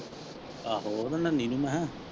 ਆਹੋ ਮੈਂ ਕਿਹਾ।